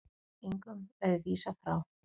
Engum verði vísað frá.